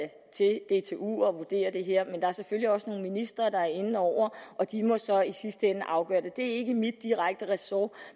vurdere det her men der er selvfølgelig også nogle ministre der er inde over og de må så i sidste ende afgøre det det er ikke mit direkte ressort